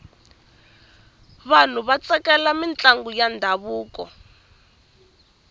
vanhu va tsakela mintlangu ya ndhavuko